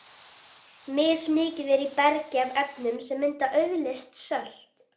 Mismikið er í bergi af efnum sem mynda auðleyst sölt.